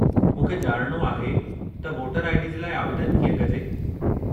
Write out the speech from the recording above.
मूंखे ॼाणणो आहे त वोटर आई.डी. जे लाइ आवेदनु कीअं कजे।